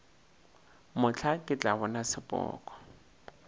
mohla ke tla bona sepoko